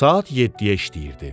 Saat 7-yə işləyirdi.